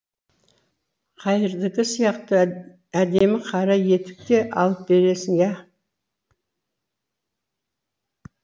қайырдікі сияқты әдемі қара етік те алып бересің иә